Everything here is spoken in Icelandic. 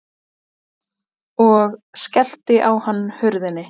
Og skellti á hann hurðinni.